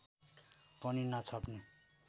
पनि नछाप्ने